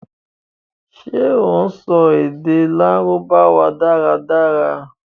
ṣé o sọ èdè Lárúbáwá dára dára?